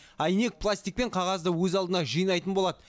әйнек пластик пен қағазды өз алдына жинайтын болады